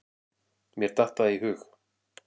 Mér datt það í hug.